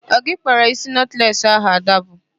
Ọ gị kpara isi nọtles ahụ Ada bu?